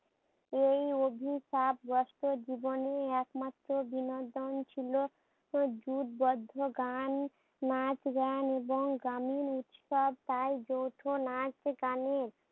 এই অভিশাপগ্রস্ত জীবনে একমাত্র বিনোদন ছিল যুথবদ্ধ গান, নাচ-গান এবং গানের উৎসব নাচ গানের।